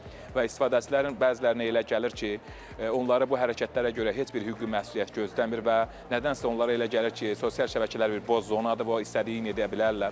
Və istifadəçilərin bəzilərinə elə gəlir ki, onları bu hərəkətlərə görə heç bir hüquqi məsuliyyət gözləmir və nədənsə onlara elə gəlir ki, sosial şəbəkələr bir boz zonadır və o istədiyini edə bilərlər.